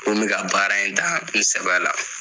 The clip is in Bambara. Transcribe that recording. K'o n bɛ ka baara in ta in sɛbɛ la.